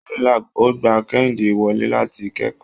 Unilag ò gba Kẹ́hìndé wọlé láti kẹ́kọ̀ọ́.